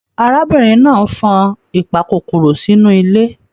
Arábìnrin náà fan ìpàkòkòrò sínú ilé.